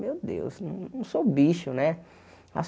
Meu Deus, não sou bicho, né? As